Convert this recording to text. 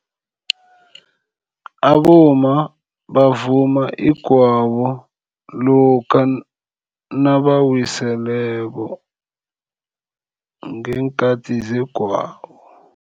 Abomma bavuma igwabo lokha nabawiseleko ngeenkhathi zegwabo.